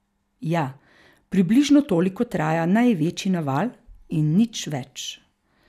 Ja, približno toliko traja največji naval, in nič več.